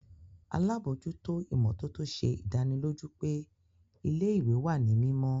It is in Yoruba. Alabojuto imototo ṣe idaniloju pe ile-iwe wa ni mimọ.